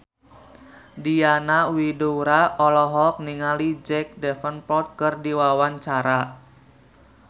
Diana Widoera olohok ningali Jack Davenport keur diwawancara